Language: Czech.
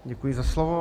Děkuji za slovo.